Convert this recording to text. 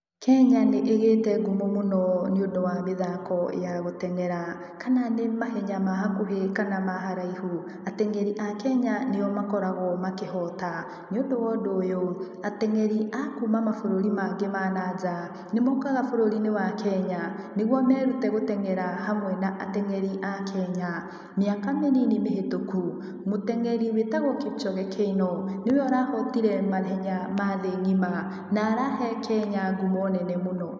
Kenya nĩ ĩgĩte ngumo mũno nĩũndũ wa mĩthako ya gũtengera. Kana nĩ mahenya ma hakuhĩ kana ma haraihu, atengeri a Kenya nĩo makoragũo makĩhota, nĩũndũ wa ũndũ ũyũ, atengeri a kuma mabũrũri mangĩ ma na nja, nĩmokaga bũrũri-inĩ wa Kenya, nĩguo merute gũtengera hamwe na atengeri a Kenya. Miaka mĩnini mĩhĩtũku, mũtengeri wĩtagũo Kipchoge Keino, niwe ũrahotire mahenya ma thĩ ng'ima, na arahe Kenya ngumo nene mũno.